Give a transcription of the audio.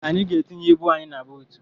Anyị ga-etinye ibu anyị na buutu.